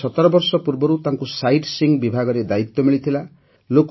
ପ୍ରାୟ ୧୭ ବର୍ଷ ପୂର୍ବରୁ ତାଙ୍କୁ ସାଇଟ୍ ସୀଇଂ ବିଭାଗରେ ଦାୟିତ୍ୱ ମିଳିଥିଲା